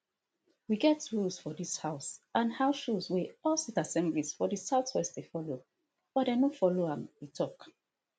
we get rules for dis house and house rules wey all state assemblies for di southwest dey follow but dem no follow am e tok